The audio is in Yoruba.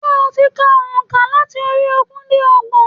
Sé o ti ka ònkà láti orí ogún dé ọgbọ̀n?